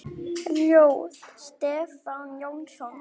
Ljóð: Stefán Jónsson